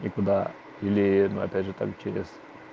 и куда или опять же там через